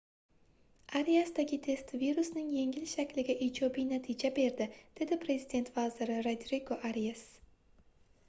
ariasdagi test virusning yengil shakliga ijobiy natija berdi dedi prezident vaziri rodrigo arias